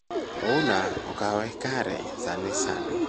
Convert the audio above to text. Ouna Okawe Kare sani sani